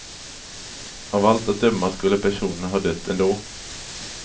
Av allt att döma skulle personerna ha dött ändå.